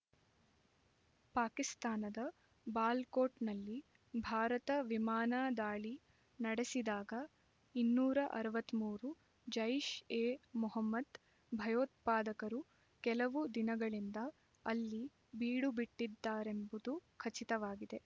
ಪಾಕಿಸ್ತಾನದ ಬಾಲಾಕೋಟ್‌ನಲ್ಲಿ ಭಾರತ ವಿಮಾನ ದಾಳಿ ನಡೆಸಿದಾಗ ಇನ್ನೂರ ಅರವತ್ತ್ ಮೂರು ಜೈಷ್ಎ ಮೊಹಮ್ಮದ್ ಭಯೋತ್ಪಾದಕರು ಕೆಲವು ದಿನಗಳಿಂದ ಅಲ್ಲಿ ಬೀಡುಬಿಟ್ಟಿದ್ದರೆಂಬುದು ಖಚಿತವಾಗಿದೆ